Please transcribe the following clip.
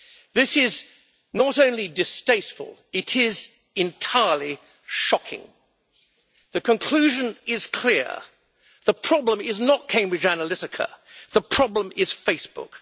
This is not only distasteful, it is entirely shocking. The conclusion is clear. The problem is not Cambridge Analytica, the problem is Facebook.